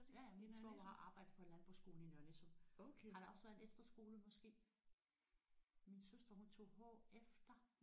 Ja ja min svoger har arbejdet på en landbrugsskole i Nørre Nissum. Har der også været en efterskole måske? Min søster hun tog HF der